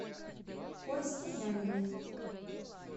косте янине